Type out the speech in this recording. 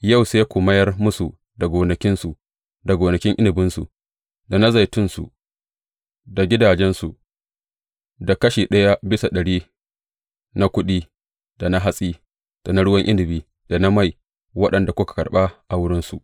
Yau sai ku mayar musu da gonakinsu, da gonakin inabinsu, da na zaitunsu, da gidajensu, da kashi ɗaya bisa ɗari na kuɗi, da na hatsi, da na ruwan inabi, da na mai, waɗanda kuka karɓa a wurinsu.